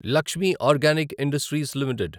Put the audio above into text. Lakshmi organic industries limited